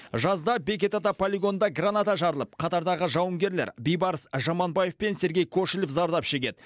жазда бекет ата полигонында граната жарылып қатардағы жауынгерлер бейбарыс жаманбаев пен сергей кошелев зардап шегеді